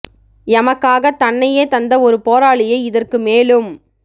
எமக்காக தன்னையே தந்த ஒரு போராளியை இதற்கு மேலும்